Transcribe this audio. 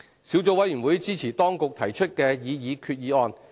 小組委員會支持當局提出的擬議決議案。